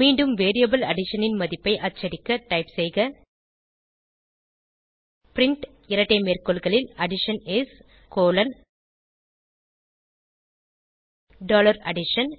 மீண்டும் variable addition ன் மதிப்பை அச்சடிக்க டைப் செய்க பிரின்ட் இரட்டை மேற்கோள்களில் அடிஷன் இஸ் டாலர் அடிஷன்